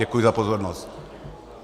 Děkuji za pozornost.